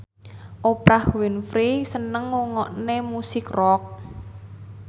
Oprah Winfrey seneng ngrungokne musik rock